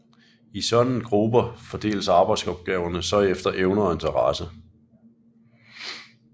I sådanne grupper fordeles arbejdsopgaverne så efter evner og interesse